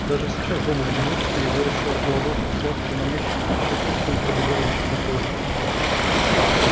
даже сейчас дома в одиночестве егор ощущал холодок сладкий манящий щекоткой пробегающий по коже